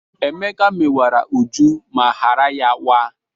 Emeka mewara Uju ma ghara ya waa.